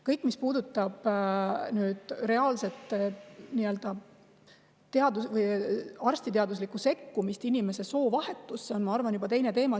Kõik, mis puudutab reaalset arstiteaduslikku sekkumist inimese soovahetusse, on, ma arvan, juba teine teema.